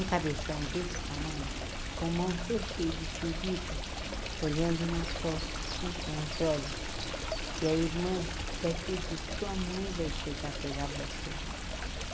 Um cabeção desse tamanho, com mão toda cheia de ferida, olhando na porta, assim com os olhos, que a irmã deve ter dito, sua mãe vai chegar pegar vocês.